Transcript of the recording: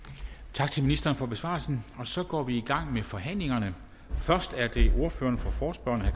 tak til ministeren for besvarelsen så går vi i gang med forhandlingen først er det ordføreren for forespørgerne